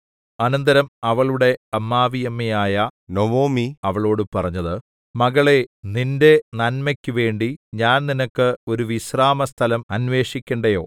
അനന്തരം അവളുടെ അമ്മാവിയമ്മയായ നൊവൊമി അവളോടു പറഞ്ഞത് മകളേ നിന്റെ നന്മക്കു വേണ്ടി ഞാൻ നിനക്ക് ഒരു വിശ്രാമസ്ഥലം അന്വേഷിക്കേണ്ടയോ